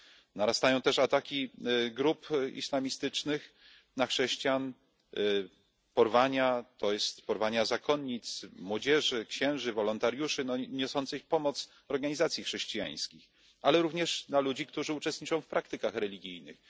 Narastają też ataki grup islamistycznych na chrześcijan, porwania, porwania zakonnic, młodzieży, księży, wolontariuszy, no i ataki na niosące pomoc organizacje chrześcijańskie, ale również na ludzi, którzy uczestniczą w praktykach religijnych.